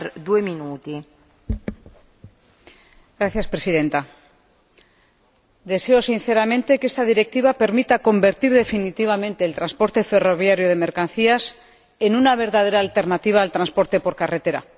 Señora Presidenta, deseo sinceramente que esta Directiva permita convertir definitivamente el transporte ferroviario de mercancías en una verdadera alternativa al transporte por carretera.